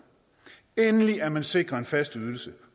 endelig er man sikret en fast ydelse